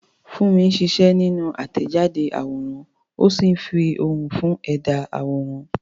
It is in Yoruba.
Funmi ń ṣiṣẹ́ nínú àtẹ̀jáde àwòrán, ó ń fi ohùn fún ẹ̀dá àwòrán àwòrán.